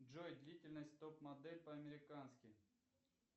джой длительность топ модель по американски